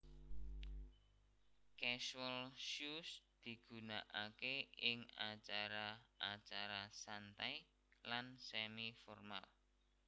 Casual Shoes digunakaké ing acara acara santai lan semi formal